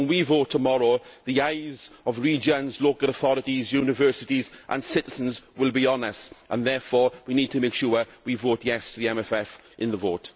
So when we vote tomorrow, the eyes of regions, local authorities, universities and citizens will be on us and we need to make sure that we vote yesʼ to the MFF in the vote.